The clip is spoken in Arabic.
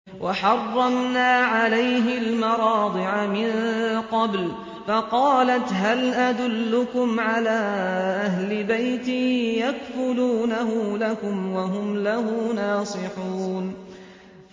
۞ وَحَرَّمْنَا عَلَيْهِ الْمَرَاضِعَ مِن قَبْلُ فَقَالَتْ هَلْ أَدُلُّكُمْ عَلَىٰ أَهْلِ بَيْتٍ يَكْفُلُونَهُ لَكُمْ وَهُمْ لَهُ نَاصِحُونَ